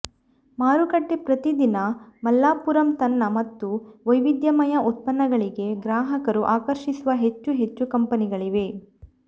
ಮಾರುಕಟ್ಟೆ ಪ್ರತಿ ದಿನ ಮಲಪ್ಪುರಂ ತನ್ನ ಮತ್ತು ವೈವಿಧ್ಯಮಯ ಉತ್ಪನ್ನಗಳಿಗೆ ಗ್ರಾಹಕರು ಆಕರ್ಷಿಸುವ ಹೆಚ್ಚು ಹೆಚ್ಚು ಕಂಪನಿಗಳಿವೆ